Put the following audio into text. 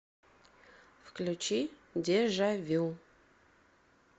включи дежа вю